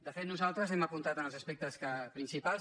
de fet nosaltres hem apuntat en els aspectes princi·pals